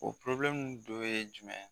O dɔ ye jumɛn?